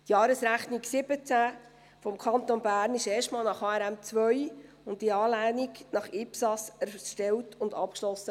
Die Jahresrechnung 2017 des Kantons Bern wurde erstmals nach HRM2 und in Anlehnung an IPSAS erstellt und abgeschlossen.